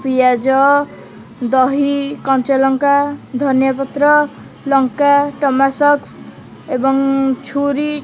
ପିଆଜ ଦହି କଞ୍ଚା ଲଙ୍କା ଧନୀୟ଼ାପତ୍ର ଲଙ୍କା ଟମାଟୋ ସସ୍ ଏବଂ ଛୁରି --